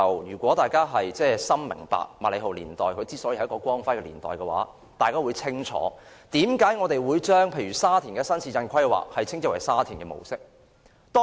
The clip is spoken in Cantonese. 如果大家認同麥理浩年代是香港的光輝年代，大家便會清楚為何我們會將沙田的新市鎮規劃稱之為沙田模式。